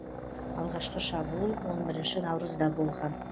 алғашқы шабуыл он бірінші наурызда болған